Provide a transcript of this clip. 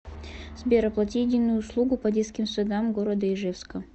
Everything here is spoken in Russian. сбер оплати единую услугу по детским садам города ижевска